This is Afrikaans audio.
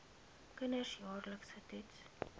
kinders jaarliks getoets